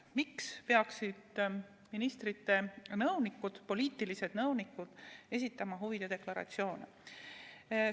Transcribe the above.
Miks peaksid ministrite poliitilised nõunikud esitama huvide deklaratsioone?